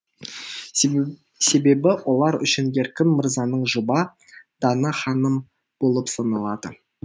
себебі олар үшін еркін мырзаның жұбы дана ханым болып саналады